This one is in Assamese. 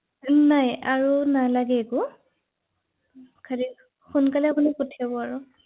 হয় হয় থিক আছে ৷